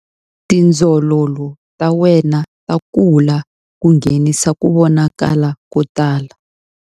Tindzololo ta wena ta kula ku nghenisa ku vonakala ko tala.